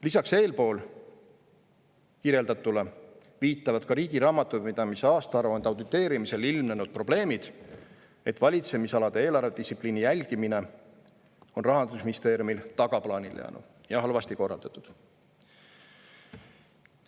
Lisaks eespool kirjeldatule viitavad ka riigi raamatupidamise aastaaruande auditeerimisel ilmnenud probleemid, et valitsemisalade eelarvedistsipliini jälgimine on Rahandusministeeriumil tagaplaanile jäänud ja halvasti korraldatud.